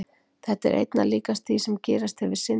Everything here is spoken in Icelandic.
Þetta er einna líkast því sem gerist þegar við syndum.